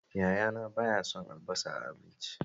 Yayana ba ya son albasa a abinci